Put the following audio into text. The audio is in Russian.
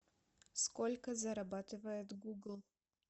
сколько зарабатывает гугл